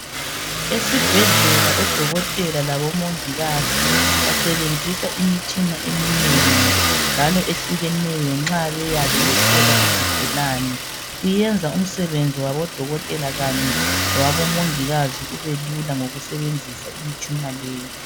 esibhedlela odokotela labo mongikazi basebenzisa imitshina eminengi njalo ehlukeneyo nxa beyabe behlola izigulane kuyenza umsebenzi wabodokotela kanye lowabo mongikazi ube lula ngokusebenzisa imitshina leyi